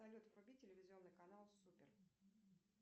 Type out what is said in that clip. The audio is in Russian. салют вруби телевизионный канал супер